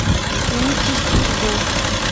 нити судьбы